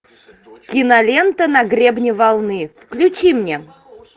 кинолента на гребне волны включи мне